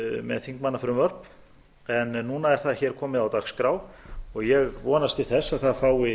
með þingmannafrumvörp en núna er það hér komið á dagskrá og ég vonast til þess að það fái